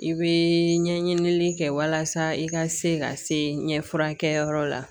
I bɛ ɲɛɲinili kɛ walasa i ka se ka se ɲɛfulakɛ yɔrɔ la